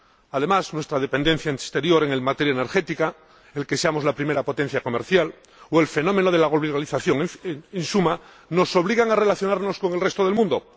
Además, nuestra dependencia del exterior en materia energética, el que seamos la primera potencia comercial o el fenómeno de la globalización, en suma, nos obligan a relacionarnos con el resto del mundo.